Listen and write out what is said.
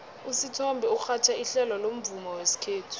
usithombe urhatjha ihlelo lomvumo wesikhethu